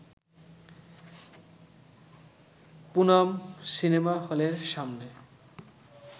Poonam cinema হলের সামনে